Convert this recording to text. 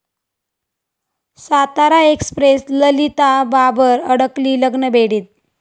Satara express' Lalita Babar अडकली लग्नबेडीत